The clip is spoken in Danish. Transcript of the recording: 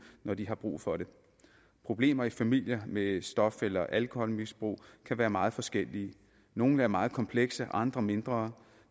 når de har brug for det problemer i familier med stof eller alkoholmisbrug kan være meget forskellige nogle er meget komplekse andre mindre